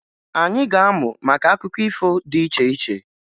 Anyị ga-amụ maka akụkọ ifo dị iche iche